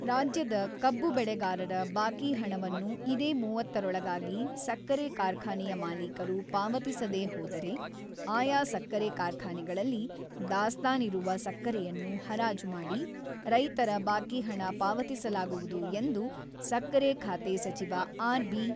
ರಾಜ್ಯದ ಕಬ್ಬು ಬೆಳೆಗಾರರ ಬಾಕಿ ಹಣವನ್ನು ಇದೇ ಮೂವತ್ತರೊಳಗಾಗಿ ಸಕ್ಕರೆ ಕಾರ್ಖಾನೆಯ ಮಾಲೀಕರು ಪಾವತಿಸದೇ ಹೋದರೆ, ಆಯಾ ಸಕ್ಕರೆ ಕಾರ್ಖಾನೆಗಳಲ್ಲಿ ದಾಸ್ತಾನಿರುವ ಸಕ್ಕರೆಯನ್ನು ಹರಾಜು ಮಾಡಿ, ರೈತರ ಬಾಕಿ ಹಣ ಪಾವತಿಸಲಾಗುವುದು ಎಂದು ಸಕ್ಕರೆ ಖಾತೆ ಸಚಿವ ಆರ್‌.ಬಿ.